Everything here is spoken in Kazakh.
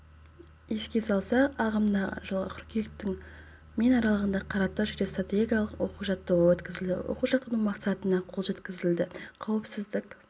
еске салсақ ағымдағы жылғы қыркүйектің мен аралығында қаратау жедел-стратегиялық оқу-жаттығуы өткізілді оқу-жаттығудың мақсатына қол жеткізілді қауіпсіздік